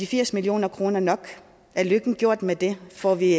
firs million kroner nok er lykken gjort med det får vi